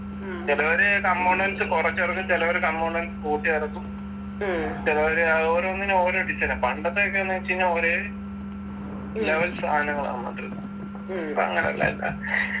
ചിലവര് components കുറച്ചെറക്കും ചിലവര് components കൂട്ടി ഇറക്കും ചിലവര് ആഹ് ഓരോന്നിനും ഓരോ design ആ പണ്ടത്തെക്കെന്ന് വെച്ച് കഴിഞ്ഞാ ഒരെ level സാധനങ്ങളാ വന്നുകൊണ്ടിരുന്നെ ഇപ്പൊ അങ്ങനെല്ലട്ടാ